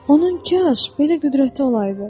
Onun kaş belə qüdrəti olaydı!